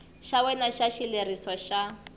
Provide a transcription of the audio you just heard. xa wena xa xileriso xa